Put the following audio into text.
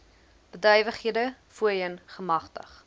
bedrywighede voorheen gemagtig